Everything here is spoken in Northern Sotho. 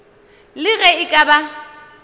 le ge e ka ba